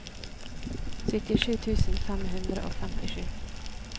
syttisju tusen fem hundre og femtisju